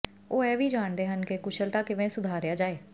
ਉਹ ਇਹ ਵੀ ਜਾਣਦੇ ਹਨ ਕਿ ਕੁਸ਼ਲਤਾ ਕਿਵੇਂ ਸੁਧਾਰਿਆ ਜਾਏ